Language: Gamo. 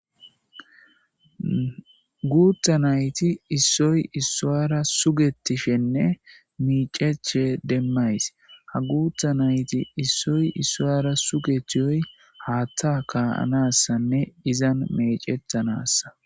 Guutta nayti issoy issoyara sugetishenne miiceche demmays ha guutta nayti issoy issoyara sugetiyoy haatta kaanassanne izan mecetanassa.